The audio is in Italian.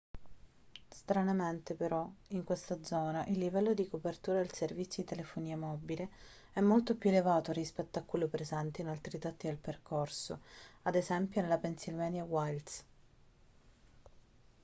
stranamente però in questa zona il livello di copertura del servizio di telefonia mobile è molto più elevato rispetto a quello presente in altri tratti del percorso ad esempio nelle pennsylvania wilds